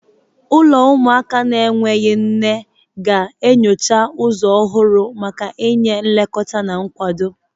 Ụlọ ụmụaka na-enweghị nne ga-enyocha ụzọ ọhụrụ maka inye nlekọta na nkwado.